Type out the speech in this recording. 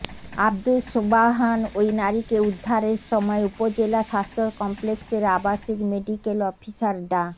আবদুস সোবাহান ওই নারীকে উদ্ধারের সময় উপজেলা স্বাস্থ্য কমপ্লেক্সের আবাসিক মেডিকেল অফিসার ডা